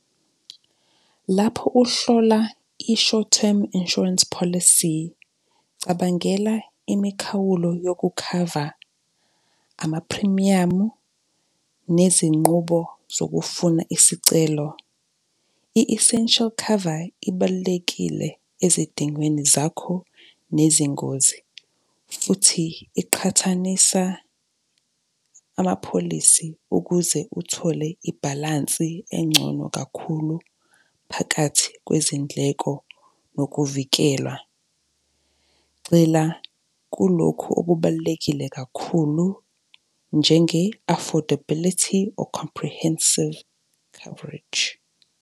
Lapho uhlola i-short term insurance policy, cabangela imikhawulo yokukhava, amaphrimiyamu, nezinqubo zokufuna isicelo. I-essential cover ibalulekile ezidingweni zakho nezingozi, futhi iqhathanisa ama-policy ukuze uthole ibhalansi engcono kakhulu phakathi kwezindleko nokuvikelwa. Gxila kulokhu okubalulekile kakhulu njenge-affordability or comprehensive coverage.